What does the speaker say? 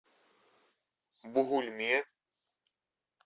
бугульме